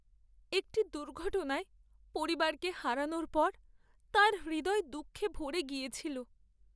একটি দুর্ঘটনায় পরিবারকে হারানোর পর তাঁর হৃদয় দুঃখে ভরে গিয়েছিল।